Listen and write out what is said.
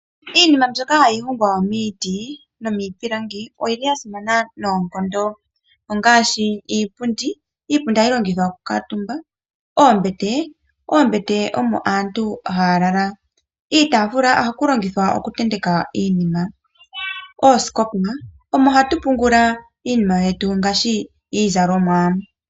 Iinima mbyoka hayi hongwa miiti nomiipilangi oyili yasimana noonkondo ongaashi iipundi. Iipundi ohayi longithwa oku kuutumba . Oombete omo aantu haya lala. Iitaafula ohaku longithwa oku tenteka iinima. Oosikopa omo hatu pungula iinima yetu ngaashi iizalomwa.